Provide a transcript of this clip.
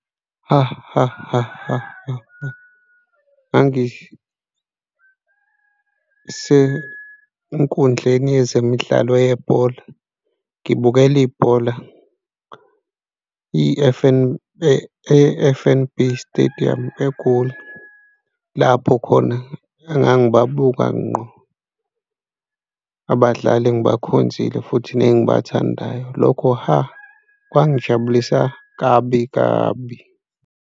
Ha, ha, ha, ha, ha, ha, ngangisenkundleni yezemidlalo yebhola, ngibukele ibhola e-F_N_B Stadium eGoli, lapho khona engangibabuka ngqo abadlali engibakhonzile futhi nengibathandayo. Lokho ha, kwangijabulisa kabi kabi.